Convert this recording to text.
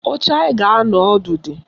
Oche anyị ga-anọ ọdụ dị